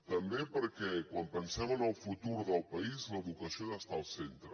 també perquè quan pensem en el futur del país l’educació ha d’estar al centre